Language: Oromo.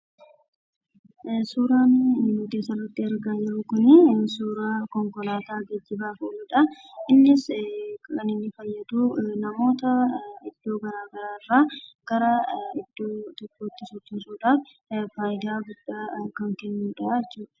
Suuraan nuti asitti argaa jirru suuraa konkolaataa namoota fe'aa jirudha. Innis namoota iddoo garaagaraa irraa gara iddoo biraa kan geessudha. Fayidaa garaagaraa kenna jechuudha.